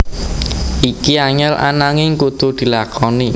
Iki angel ananging kudu dilakoni